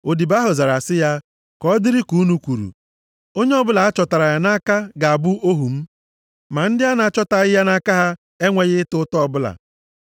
Odibo ahụ zara sị ha, “Ka ọ dịrị dịka unu kwuru. Onye ọbụla a chọtara ya nʼaka ga-abụ ohu m. Ma ndị a na-achọtaghị ya nʼaka ha enweghị ịta ụta ọbụla.”